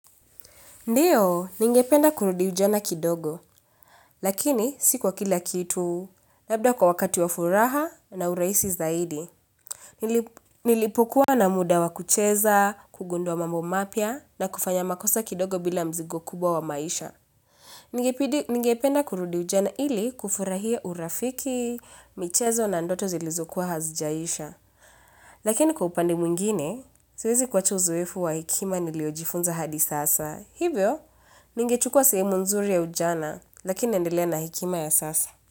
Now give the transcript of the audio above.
Ndio, ningependa kurudi ujana kidogo, lakini si kwa kila kitu, labda kwa wakati wa furaha na urahisi zaidi. Nilipokuwa na muda wa kucheza, kugundua mambo mapya na kufanya makosa kidogo bila mzigo kubwa wa maisha. Ningependa kurudi ujana ili kufurahia urafiki, michezo na ndoto zilizokuwa hazijaisha. Lakini kwa upande mwingine, siwezi kuacha uzoefu wa hekima niliyojifunza hadi sasa. Hivyo, ningechukua sehemu nzuri ya ujana, lakini naendelea na hekima ya sasa.